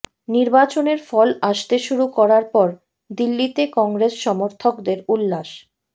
নির্বাচনের ফল আসতে শুরু করার পর দিল্লিতে কংগ্রেস সমর্থকদের উল্লাস